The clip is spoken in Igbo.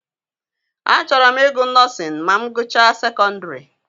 A chọrọ m I gụ nọọsịn ma m gụchaa sekondiri.